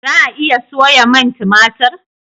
za a iya soya man tumatir?